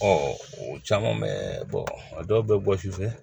o caman bɛ a dɔw bɛ bɔ sufɛ